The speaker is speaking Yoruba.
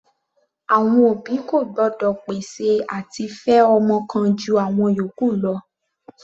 Àwọn òbí kò gbọ́dọ̀ pèsè àti fẹ ọmọ kan ju àwọn ìyókù lọ.